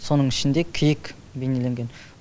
соның ішінде киік бейнеленген